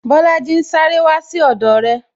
Bolaji ń sáré wá sí ọdọ re